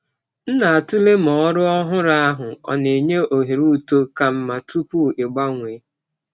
M na-atụle ma ọrụ ọhụrụ ahụ na-enye ohere uto ka mma tupu ịgbanwee.